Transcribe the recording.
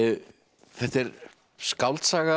þetta er skáldsaga